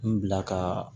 N bila ka